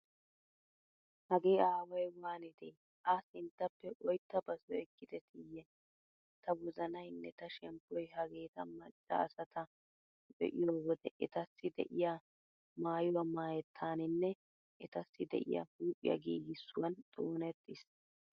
Hagee aaway waanide A sinttappe oyttaa basoy ekettideeyye. Ta wozanaynne ta shemppoy hageeta macca asata be'iyo wode etassi de'iya maayuwaa maayettaaninne etassi de'iya huuphiya giigissuwan xoonettiis.